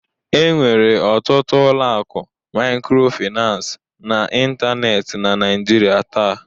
Enwere ọtụtụ ụlọ akụ microfinance n'ịntanetị na Nigeria taa